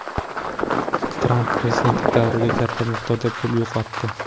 Tramp prezidentlik davrida katta miqdorda pul yo‘qotdi.